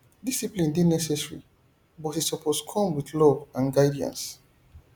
discipline dey necessary but e suppose come with love and guidance